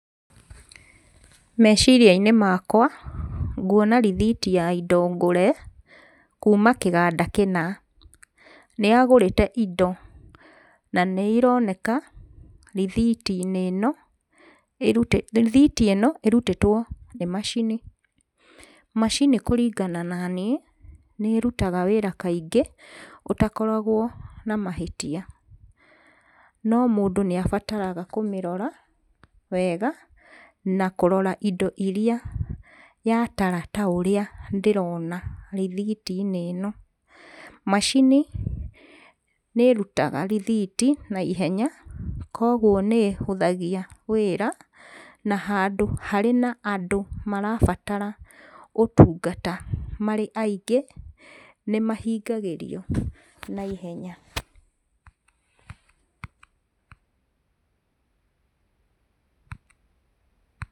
Meciria-inĩ makwa, nguona rĩthiti ya indo ngũre kuma kĩganda kĩna. Nĩ agũrĩte indo na nĩ ironeka rĩthiiti inĩ no, rĩthiti ino ĩrutĩtwo nĩ macini. Macini kũringana na niĩ nĩrutaga wĩra kaingĩ ũtakoragwo na mahĩtia. No mũndũ nĩ abataraga kũmĩrora wega, na kũrora indo irĩa yatara taũrĩa ndĩrona rĩthiti-inĩ ĩno. Macini nĩ ĩrutaga rĩthiti ihenya koguo nĩ hũthagia wĩra na handũ harĩ na andũ marabatara ũtungata marĩ aingĩ nĩ mahingagĩrio na ĩhenya.